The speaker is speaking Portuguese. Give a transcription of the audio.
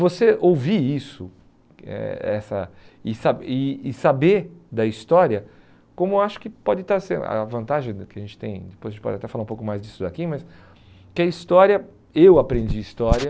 Você ouvir isso eh essa e sa e e saber da história, como acho que pode estar sendo a vantagem que a gente tem, depois a gente pode até falar um pouco mais disso daqui, mas que a história, eu aprendi história...